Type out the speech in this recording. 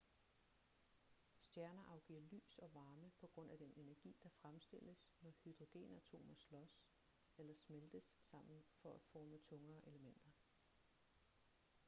stjerner afgiver lys og varme på grund af den energi der fremstilles når hydrogenatomer slås eller smeltes sammen for at forme tungere elementer